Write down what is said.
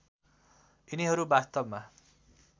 यिनीहरू वास्तवमा